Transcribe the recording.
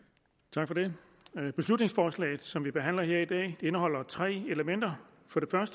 tak for det beslutningsforslaget som vi behandler her i dag indeholder tre elementer